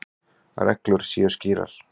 Reglur séu skýrar.